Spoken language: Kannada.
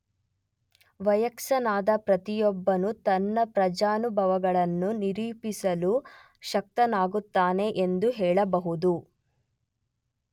ವಯಸ್ಕನಾದ ಪ್ರತಿಯೊಬ್ಬನೂ ತನ್ನ ಪ್ರಜ್ಞಾನುಭವಗಳನ್ನು ನಿರೂಪಿಸಲು ಶಕ್ತನಾಗಿರುತ್ತಾನೆ ಎಂದು ಹೇಳಬಹುದು.